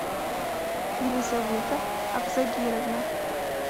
елизавета абзагировна